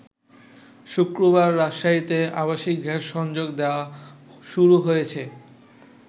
শুক্রবার রাজশাহীতে আবাসিক গ্যাস সংযোগ দেয়া শুরু হয়েছে।